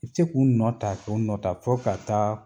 I ti se k'u nɔ ta, k'u nɔ ta fɔ ka taa